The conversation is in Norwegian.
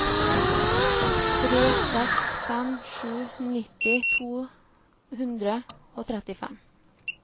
tre seks fem sju nitti to hundre og trettifem